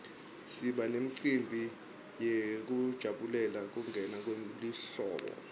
siba nemicimbi yekujabulela kungena kwelihlobo